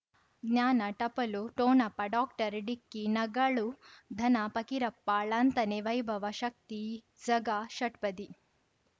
ಜ್ಞಾನ ಟಪಲು ಠೊಣಪ ಡಾಕ್ಟರ್ ಢಿಕ್ಕಿ ಣಗಳು ಧನ ಫಕೀರಪ್ಪ ಳಂತಾನೆ ವೈಭವ ಶಕ್ತಿ ಝಗಾ ಷಟ್ಪದಿ